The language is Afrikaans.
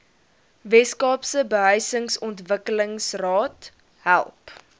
weskaapse behuisingsontwikkelingsraad help